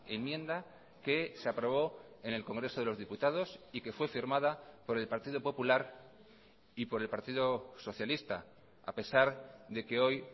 enmienda que se aprobó en el congreso de los diputados y que fue firmada por el partido popular y por el partido socialista a pesar de que hoy